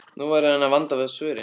Nú verður hann að vanda svörin.